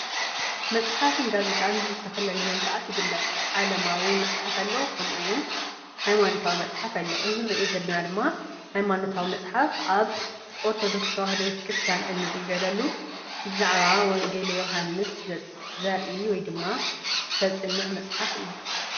መፅሓፍን ጋዜጣን ብዝተፈላለዩ መልክዓት ይግለፅ ዓለማዊ መፅሓፍ ኣሎ፣ ከምኡ እውን ሃይማኖታዊ መፅሓፍ ኣሎ፣ እዚ ንሪኦ ዘለና ድማ ሃይማኖታዊ መፅሓፍ ኣብ ኦርተዶክስ ተዋህዶ ቤተክርስያን እንግልገለሉ ብዛዕባ ወንጌል ዮሃንስ ዘርኢ ወይ ድማ ዘፅንዕ መፅሓፍ እዩ።